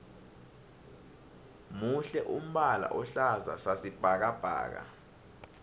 muhle umbala ohlaza sasi bhakabhaka